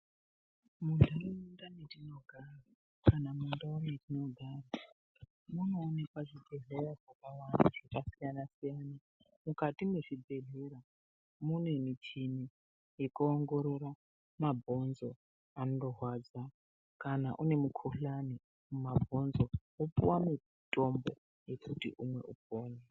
Munharaunda mwatinogara kana mundau dzatinogara munoonekwa zvibhedhleya zvakasiyana siyana. Mukati mwezvibhendlera mune muchini yekuongorora mabhonzo anorwadza. Kana une mikhuhlani mumabhonzo wopuwa mutombo wekuti umwe